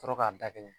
Sɔrɔ k'a da kelen